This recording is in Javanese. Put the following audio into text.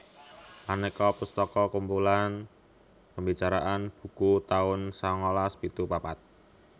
Aneka pustaka kumpulan pembicaraan buku taun sangalas pitu papat